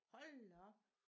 Hold da op